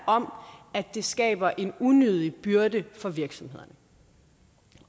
om at det skaber en unødig byrde for virksomhederne